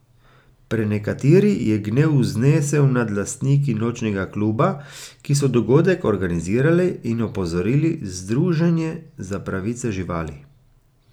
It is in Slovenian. Prenekateri je gnev znesel nad lastniki nočnega kluba, ki so dogodek organizirali, in opozorili združenje za pravice živali.